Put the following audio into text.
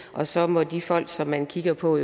og så må de folk som man kigger på